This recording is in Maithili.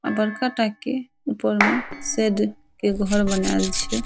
अ बड़का टा के ऊपर में शेड के घर बनाल छै।